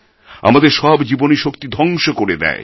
আমাদের সব জীবনীশক্তি ধ্বংস করে দেয়